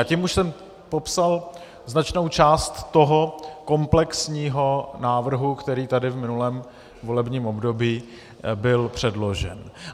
A tím už jsem popsal značnou část toho komplexního návrhu, který tady v minulém volebním období byl předložen.